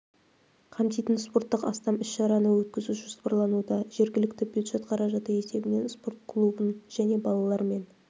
қамтитын спорттық астам іс-шараны өткізу жоспарлануда жергілікті бюджет қаражаты есебінен спорт клубын және балалар мен